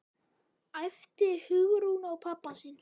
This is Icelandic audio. æpti Hugrún á pabba sinn.